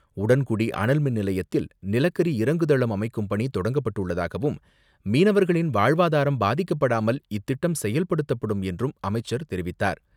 உடன்குடி அனல்மின் நிலையத்தில் நிலக்கரி இறங்குதளம் அமைக்கும் பணி தொடங்கப்பட்டுள்ளதாகவும் மீனவர்களின் வாழ்வாதாரம் பாதிக்கப்படாமல் இத்திட்டம் செயல்படுத்தப்படும் என்றும் அமைச்சர் தெரிவித்தார்.